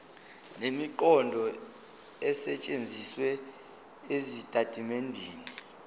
nemiqondo esetshenzisiwe ezitatimendeni